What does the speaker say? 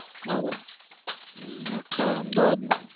હવે હમ આખા અમદાવાદ માં.